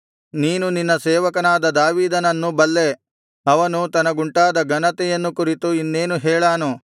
ನೀನು ನಿನ್ನ ಸೇವಕನಾದ ದಾವೀದನನ್ನು ಬಲ್ಲೆ ಅವನು ತನಗುಂಟಾದ ಘನತೆಯನ್ನು ಕುರಿತು ಇನ್ನೇನು ಹೇಳಾನು